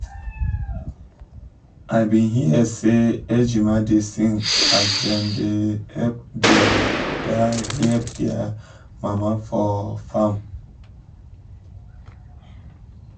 i um been hear as ejima da sing as dem um da help dia da help dia mama for farm